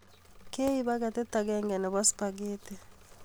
Keib paketit agenge nebo supagheti